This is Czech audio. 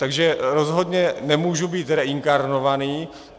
Takže rozhodně nemůžu být reinkarnovaný.